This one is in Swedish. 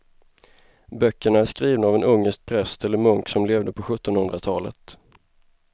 Böckerna är skrivna av en ungersk präst eller munk som levde på sjuttonhundratalet.